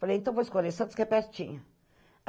Falei, então vou escolher Santos que é pertinho.